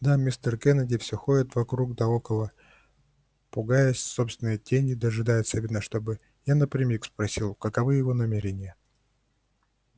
да мистер кеннеди всё ходит вокруг да около пугаясь собственной тени дожидается видно чтобы я напрямик спросил каковы его намерения